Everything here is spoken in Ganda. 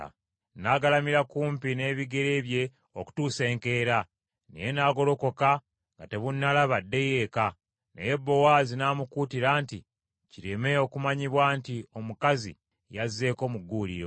N’agalamira kumpi n’ebigere bye okutuusa enkeera, naye n’agolokoka nga tebunnalaba addeyo eka. Naye Bowaazi n’amukuutira nti, “Kireme okumanyibwa nti omukazi yazzeeko mu gguuliro.”